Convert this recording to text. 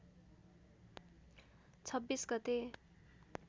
२६ गते